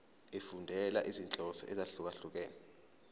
efundela izinhloso ezahlukehlukene